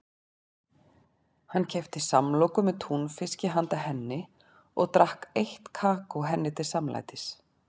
Hann keypti samloku með túnfiski handa henni og drakk heitt kakó henni til samlætis.